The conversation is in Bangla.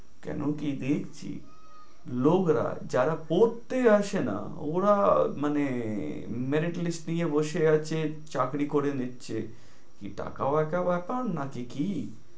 কেনো কি দেখছি, লোকরা যারা পড়তে আসে না ওরা মানে merit list নিয়ে বসে আছে, চাকরি করে নিচ্ছে। কি টাকাও একটা ব্যাপার না, না যে কি।